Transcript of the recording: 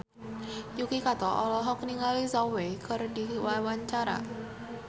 Yuki Kato olohok ningali Zhao Wei keur diwawancara